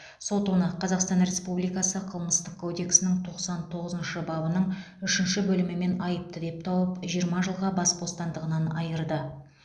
сот оны қазақстан республикасы қылмыстық кодексінің тоқсан тоғызыншы бабының үшінші бөлімімен айыпты деп тауып жиырма жылға бас бостандығынан айырды